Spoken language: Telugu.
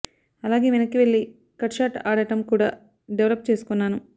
అలాగే వెనక్కి వెళ్లి కట్ షాట్ ఆడటం కూడా డెవలప్ చేసుకున్నాను